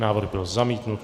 Návrh byl zamítnut.